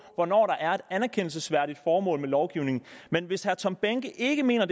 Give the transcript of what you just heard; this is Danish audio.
hvornår der er et anerkendelsesværdigt formål med lovgivningen men hvis herre tom behnke ikke mener